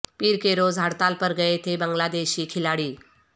پیر کے روز ہڑتال پر گئے تھے بنگلہ دیشی کھلاڑی